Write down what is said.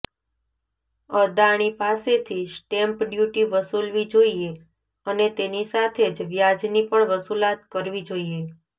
અદાણી પાસેથી stamp duty વસૂલવી જોઈએ અને તેની સાથે જ વ્યાજની પણ વસૂલાત કરવી જોઈએ